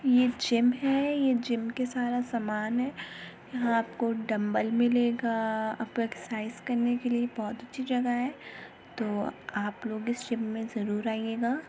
ये जिम है। ये जिम के सारा सामान है। यहाँ आपको डम्बल मिलेगा आपको एक्सरसाइज करने के लिए ये बोहोत अच्छी जगह है। तो आप लोग इस जिम मे जरूर आइएगा।